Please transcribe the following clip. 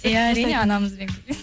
иә әрине анамызбен